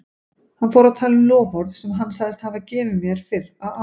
Hann fór að tala um loforð sem hann sagðist hafa gefið mér fyrr á árinu.